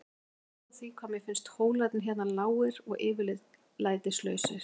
Ég vil ekki hafa orð á því hvað mér finnst hólarnir hér lágir og yfirlætislausir.